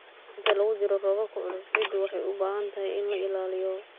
Inta lagu jiro roobabka culus, ciidda waxay u baahan tahay in la ilaaliyo.